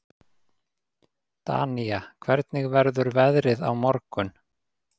Danía, hvernig verður veðrið á morgun?